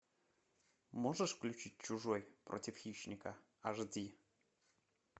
можешь включить чужой против хищника аш ди